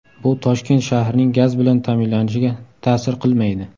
Bu Toshkent shahrining gaz bilan ta’minlanishiga ta’sir qilmaydi.